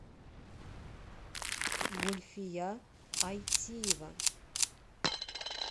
гульфия айтиева